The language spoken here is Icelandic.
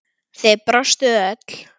Þið brostuð öll.